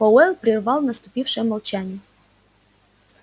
пауэлл прервал наступившее молчание